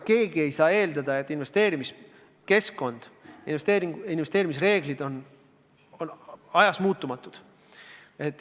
Keegi ei saa eeldada, et investeerimiskeskkond, investeerimisreeglid on ajas muutumatud.